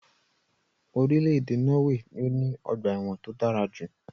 Irílèdè Norway ni o ní ogbà èwòn to dárajù